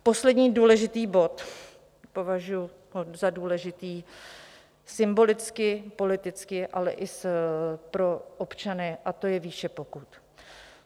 Poslední důležitý bod, považuji ho za důležitý symbolicky, politicky, ale i pro občany, a to je výše pokut.